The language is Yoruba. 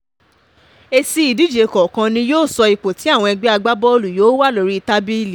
èsì ìdíje kọ̀ọ̀kan ni yóò sọ ipò tí àwọn ẹgbẹ́ agbábọ́ọ̀lù yóò wà lórí tábìlì